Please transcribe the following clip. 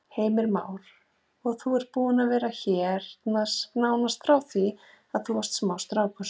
Heimir Már: Og þú ert búinn að vera hérna nánast frá því þú varst smástrákur?